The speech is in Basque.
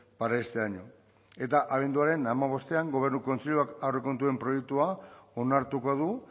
para este año eta abenduaren hamabostean gobernu kontseiluak aurrekontuen proiektua onartuko du